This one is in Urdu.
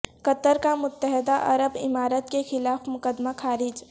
قطر کا متحدہ عرب امارات کے خلاف مقدمہ خارج